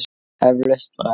Eflaust braggi.